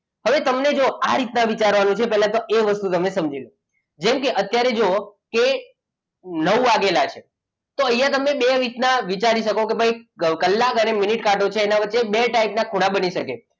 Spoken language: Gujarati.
હવે તમને જો આ રીતના વિચારવાનું છે પહેલા તો જો વસ્તુ તમે સમજી લો. જેમ કે અત્યારે જુઓ કે નવ વાગેલા છે તો અહીંયા તમે બે રીત ના વિચારી શકો કે ભાઈ કલાક અને મિનિટ કાંટો છે તેમના વચ્ચે બે ટાઈપના ખૂણા બની શકે.